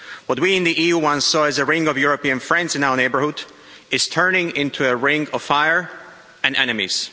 What we in the EU once saw as a ring of European friends in our neighbourhood is turning into a ring of fire and enemies.